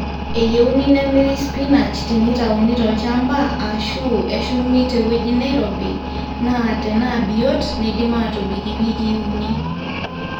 eyieuni nemirri sipinash teneitauni tolchamba aashu eshumi tewueji neirobi naa tenaabiot neidim aatobik iwikii uni